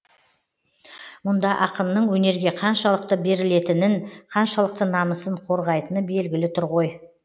мұнда ақынның өнерге қаншалықты берілетінін қаншалықты намысын қорғайтыны белгілі тұр ғой